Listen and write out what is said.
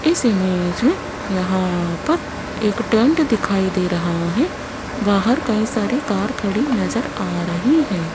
इस इमेज मे यहां पर एक टैंट दिखाई दे रहा है बाहर कई सारी कार खड़ी नजर आ रही है।